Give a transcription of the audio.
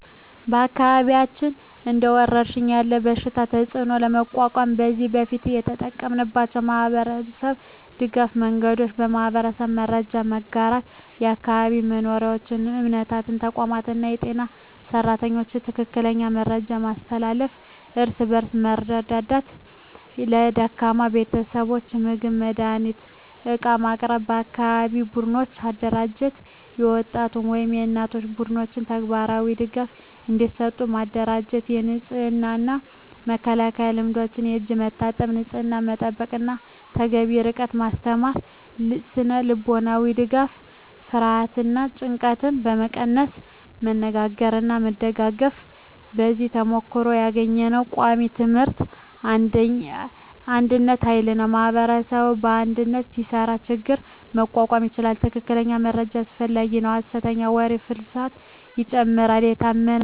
በአካባቢያችን እንደ ወረሽኝ ያለ በሽታ ተፅዕኖ ለመቋቋም ከዚህ በፊት የተጠቀምናቸው የማህበረሰብ ድገፍ መንገዶች :- የማህበራዊ መረጃ መጋራት በአካባቢ መሪዎች፣ እምነታዊ ተቋማት እና የጤና ሰራተኞች ትክክለኛ መረጃ ማስተላለፍ። እርስ በእርስ መርዳት ለደካማ ቤተሰቦች ምግብ፣ መድሃኒት እና ዕቃ ማቅረብ። የአካባቢ ቡድኖች አደራጀት የወጣቶች ወይም የእናቶች ቡድኖች ተግባራዊ ድጋፍ እንዲሰጡ ማደራጀት። የንጽህና እና መከላከያ ልምዶች የእጅ መታጠብ፣ ንጽህና መጠበቅ እና ተገቢ ርቀት ማስተማር። ስነ-ልቦናዊ ድጋፍ ፍርሃትን እና ጭንቀትን ለመቀነስ መነጋገርና መደጋገፍ። ከዚህ ተሞክሮ ያገኘነው ቃሚ ትምህርቶች አንድነት ኃይል ነው ማኅበረሰብ በአንድነት ሲሰራ ችግኝ መቋቋም ይቻላል። ትክክለኛ መረጃ አስፈላጊ ነው ሐሰተኛ ወሬ ፍርሃትን ይጨምራል፤ የታመነ መረጃ ግን መመሪያ ይሆናል።